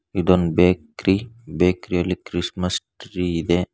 ಇದೊಂದ bakery bakery ಯಲಿ Christmas tree ಇದೆ.